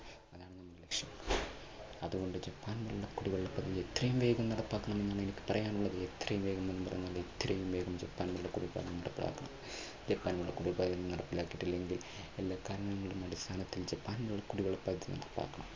അതുകൊണ്ട് ജപ്പാൻ കുടിവെള്ള പദ്ധതി എത്രയും വേഗം നടപ്പാക്കണം എന്നാണ് എനിക്ക് പറയാനുള്ളത് എത്രയും വേഗം എന്ന് പറഞ്ഞാൽ എത്രയും വേഗം ജപ്പാൻ കുടിവെള്ള പദ്ധതി നടപ്പിലാക്കകണം. ജപ്പാൻ കുടിവെള്ള പദ്ധതി നടപ്പിലാക്കിയിട്ടില്ലെങ്കിൽ ജപ്പാൻ കുടിവെള്ള പദ്ധതി നടപ്പിലാക്കണം.